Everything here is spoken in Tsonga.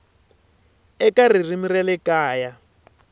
eka ririmi ra le kaya